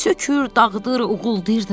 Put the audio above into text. Sökür, dağıdır, uğuldayırdı.